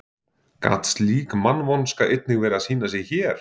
Gat slík mannvonska einnig verið að sýna sig hér?